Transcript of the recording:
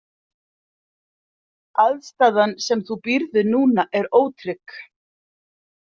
Aðstaðan sem þú býrð við núna er ótrygg.